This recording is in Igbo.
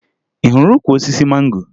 Ị hụrụ ukwu osisi mango?